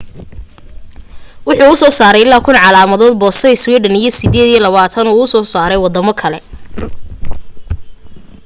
wuxuu usoo saaray ilaa 1,000 calaamad boosto sweden iyo 28 uu usoo saaray wadamo kale